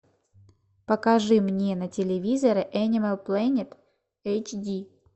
покажи мне на телевизоре энимал плэнет эйч ди